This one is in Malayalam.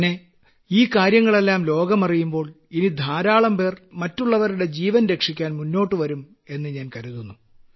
പിന്നെ ഈ കാര്യങ്ങളെല്ലാം ലോകമറിയുമ്പോൾ ഇനി ധാരാളംപേർ മറ്റുള്ളവരുടെ ജീവൻ രക്ഷിക്കാൻ മുന്നോട്ട് വരും എന്ന് ഞാൻ കരുതുന്നു